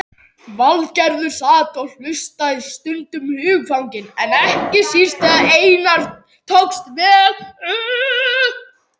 Valgerður sat og hlustaði, stundum hugfangin, ekki síst þegar Einari tókst vel upp.